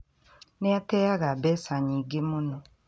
Nĩ ateaga mbeca nyingĩ mũno